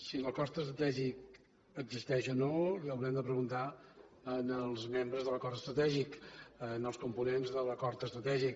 si l’acord estratègic existeix o no ho hauran de preguntar als membres de l’acord estratègic als components de l’acord estratègic